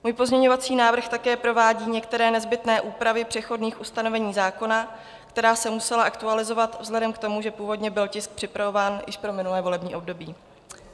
Můj pozměňovací návrh také provádí některé nezbytné úpravy přechodných ustanovení zákona, která se musela aktualizovat vzhledem k tomu, že původně byl tisk připravován už pro minulé volební období.